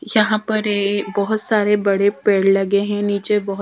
यहां पर ये बहुत सारे बड़े पेड़ लगे हैं नीचे बहोत ।